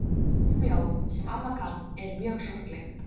Sum ljóðin, sem amma kann, eru mjög sorgleg.